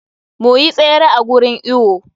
Mu yi tsere a gurin iwo.